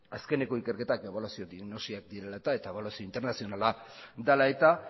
azkeneko ikerketak ebaluazio diagnosiak direla eta eta ebaluazio internazionala dela eta